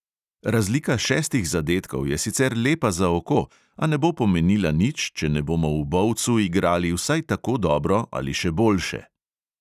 Razlika šestih zadetkov je sicer lepa za oko, a ne bo pomenila nič, če ne bomo v bovcu igrali vsaj tako dobro ali še boljše.